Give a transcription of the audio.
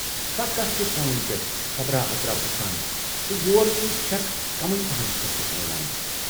فقط چھِ فونن پٮ۪ٹھ خبرا اترا پرژھان تہٕ یور یِنٕچ چھَکھ کمٕے پہن فُرصتھ میلان۔